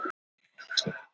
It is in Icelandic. Um miðjan desember.